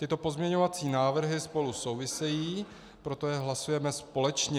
Tyto pozměňovací návrhy spolu souvisejí, proto je hlasujeme společně.